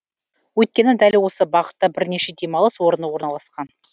өйткені дәл осы бағытта бірнеше демалыс орны орналасқан